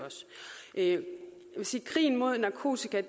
jeg vil sige at krigen mod narkotika